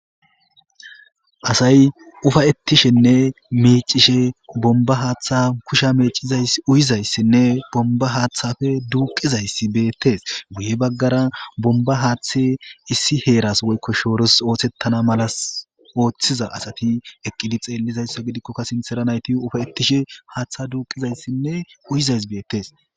Asay ufayettishenne meecishe bomba haaththa kusha mecuyizayssinne bomba haaththafe duuqizayssi beettes guye baggara bomba haaththe issi heeras woykko shooros oothettana malas ooththiza asati eqqidi xeellizayssa gidikkokka sintera nayti ufay7ettishe haaththa duuqizayssinne uyizays beettes